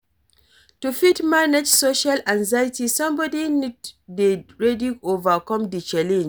To fit manage social anxiety somebody need to dey ready overcome di challenge